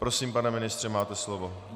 Prosím, pane ministře, máte slovo.